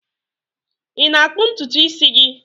Ị na-akpụ ntutu isi gị?